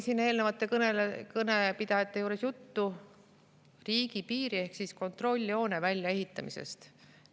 Eelnevate kõnepidajate kõnedes oli juttu riigipiiri ehk kontrolljoone väljaehitamisest.